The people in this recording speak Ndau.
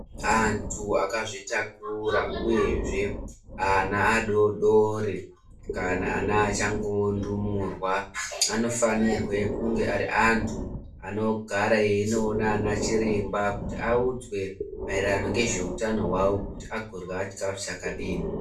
Antu akazvitakura uyezve ana adoodori kana ana achangoundumurwa anofanire kunge ari antu anogara einoona ana chiremba kuti audzwe ngezveutano hwavo kuti anodye chikafu chakadini.